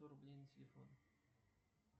сто рублей на телефон